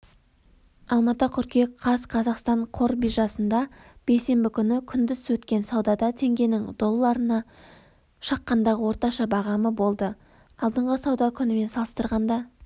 алматы қыркүйек қаз қазақстан қор биржасында бейсенбі күні күндіз өткен саудада теңгенің долларына шаққандағы орташа бағамы болды алдыңғы сауда күнімен салыстырғанда